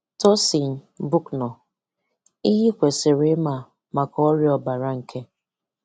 Tosyn Bucknor: Ihe ị kwesịrị ịma maka ọrịa ọbara nke